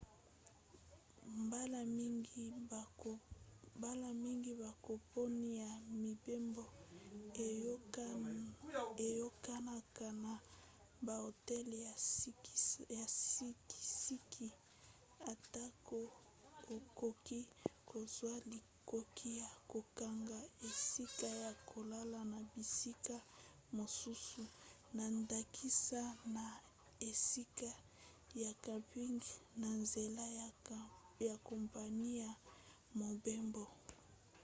mbala mingi bakompani ya mibembo eyokanaka na bahotel ya sikisiki atako okoki kozwa likoki ya kokanga esika ya kolala na bisika mosusu na ndakisa na esika ya camping na nzela ya kompani ya mobembo